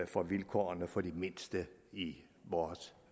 for vilkårene for de mindste i vores